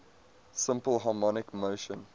simple harmonic motion